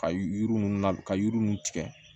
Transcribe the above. Ka yiri ninnu la ka yiri ninnu tigɛ